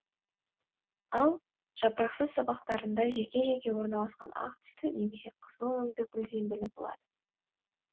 ал жапырақсыз сабақтарында жеке жеке орналасқан ақ түсті немесе қызыл өңді гүл зембілі болады